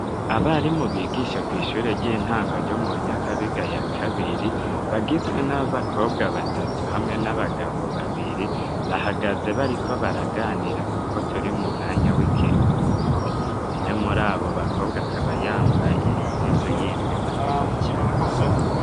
Abarimu bigisha mw'ishure ry'intango ryo mu Nyakabiga ya kabiri, bagizwe n'abakobwa batatu hamwe n'abagabo babiri, bahagaze bariko baraganira kuko turi mu mwanya w'ikiruhuko, umwe muri abo bakobwa akaba yambaye impuzu y'imbeho ndende cane.